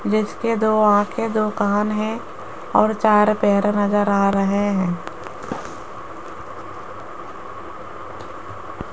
जिसके दो आंखें दो कान हैं और चार पैर नजर आ रहे हैं।